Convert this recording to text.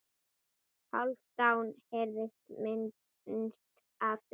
Hálfdán heyrði minnst af því.